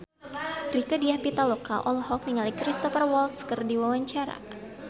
Rieke Diah Pitaloka olohok ningali Cristhoper Waltz keur diwawancara